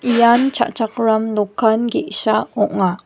ian cha·chakram dokan ge·sa ong·a.